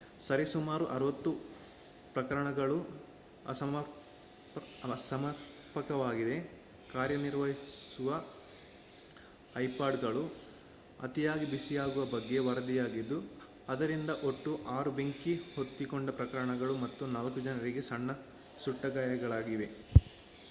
ಸರಿ ಸುಮಾರು 60 ಪ್ರಕರಣಗಳು ಅಸಮರ್ಪಕವಾಗಿ ಕಾರ್ಯನಿರ್ವಹಿಸುವ ಐಪಾಡ್ಗಳು ಅತಿಯಾಗಿ ಬಿಸಿಯಾಗುವ ಬಗ್ಗೆ ವರದಿಯಾಗಿದ್ದು ಅದರಿಂದ ಒಟ್ಟು 6 ಬೆಂಕಿ ಹೊತ್ತಿಕೊಂಡ ಪ್ರಕರಣಗಳು ಮತ್ತು 4 ಜನರಿಗೆ ಸಣ್ಣ ಸುಟ್ಟಗಾಯಗಳಾಗಿವೆ